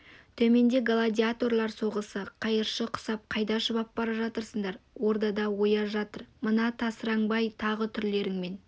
төменде гладиаторлар соғысы қайыршы құсап қайда шұбап бара жатырсыңдар ордада ояз жатыр мына тасыраңбай тағы түрлеріңмен